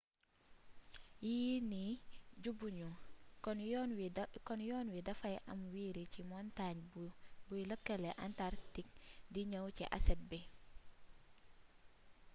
yii nii ju bu ñu kon yoon wi dafay am wiiri ci montaañ buy lëkkële antarktik di ñëw ci asset bi